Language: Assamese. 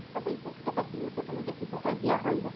মই তাইকও কেতিয়াবা তুমি দেখিছা তাইক বিয়া হ'ল যে